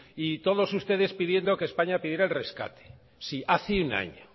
y todos ustedes pidiendo que españa pidiera el rescate sí hace un año